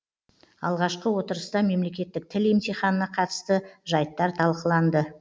алғашқы отырыста мемлекеттік тіл емтиханына қатысты жайттар талқыланды